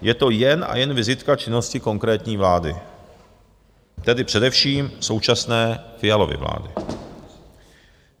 Je to jen a jen vizitka činnosti konkrétní vlády, tedy především současné Fialovy vlády.